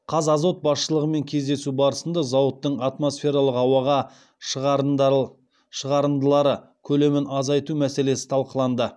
қазазот басшылығымен кездесу барысында зауыттың атмосфералық ауаға шығарындылары көлемін азайту мәселесі талқыланды